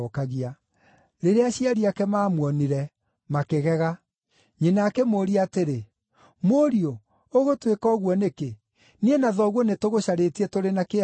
Rĩrĩa aciari ake maamuonire, makĩgega. Nyina akĩmũũria atĩrĩ, “Mũriũ, ũgũtwĩka ũguo nĩkĩ? Niĩ na thoguo nĩ tũgũcarĩtie tũrĩ na kĩeha mũno.”